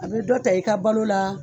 A bɛ dɔ ta i ka balo la